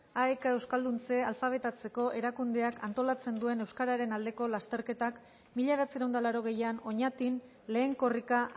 aek euskalduntze alfabetatzeko erakundeak antolatzen duen euskararen aldeko lasterketak mila bederatziehun eta laurogeian oñatin lehen korrika